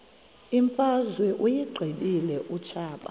imfazwe uyiqibile utshaba